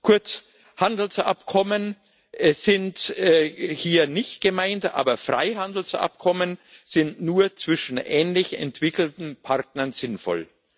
Kurz Handelsabkommen sind hier nicht gemeint, aber Freihandelsabkommen sind nur zwischen ähnlich entwickelten Partnern sinnvoll.